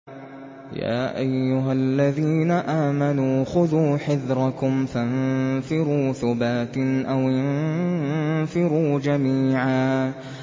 يَا أَيُّهَا الَّذِينَ آمَنُوا خُذُوا حِذْرَكُمْ فَانفِرُوا ثُبَاتٍ أَوِ انفِرُوا جَمِيعًا